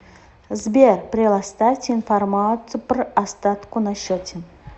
сбер прелоставьте информацию пр остатку на счете